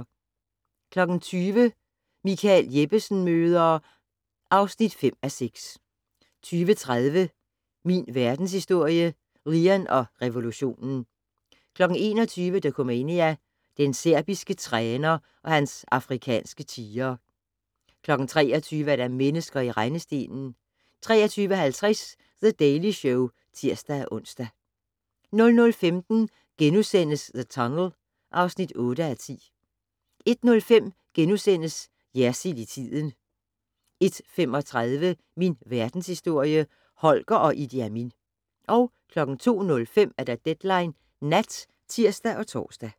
20:00: Michael Jeppesen møder ... (5:6) 20:30: Min Verdenshistorie - Lean og revolutionen 21:00: Dokumania: Den serbiske træner og hans afrikanske tigre 23:00: Mennesker i rendestenen 23:50: The Daily Show (tir-ons) 00:15: The Tunnel (8:10)* 01:05: Jersild i tiden * 01:35: Min Verdenshistorie - Holger og Idi Amin 02:05: Deadline Nat (tir og tor)